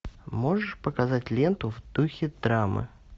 можешь показать ленту в духе драмы